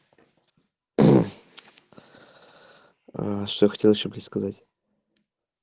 а что хотел ещё блядь сказать